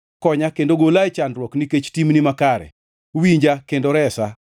Konya kendo gola e chandruok, nikech timni makare; winja kendo iresa.